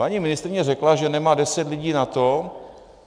Paní ministryně řekla, že nemá deset lidí na to.